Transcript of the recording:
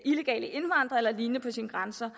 illegale indvandrere eller lignende på sine grænser